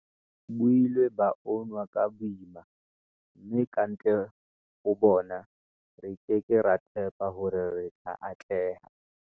Bo ile ba unwa ka boima, mme kantle ho bona, re ke ke ra tshepa hore re tla atleha. v